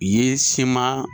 U ye siman